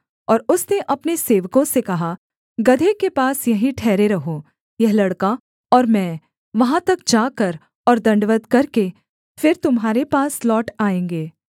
और उसने अपने सेवकों से कहा गदहे के पास यहीं ठहरे रहो यह लड़का और मैं वहाँ तक जाकर और दण्डवत् करके फिर तुम्हारे पास लौट आएँगे